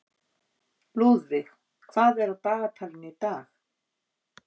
Lúðvíg, hvað er á dagatalinu í dag?